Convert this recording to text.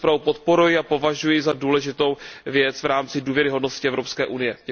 Já tu zprávu podporuji a považuji ji za důležitou věc v rámci důvěryhodnosti Evropské unie.